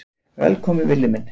Velkominn Villi minn.